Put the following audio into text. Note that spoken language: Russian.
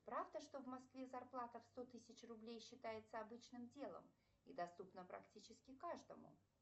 правда что в москве зарплата в сто тысяч рублей считается обычным делом и доступна практически каждому